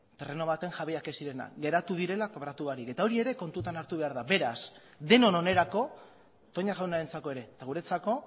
terreno baten jabeak ez zirenak geratu direla kobratu barik eta hori ere kontutan hartu behar da beraz denon onerako toña jaunarentzako ere eta guretzako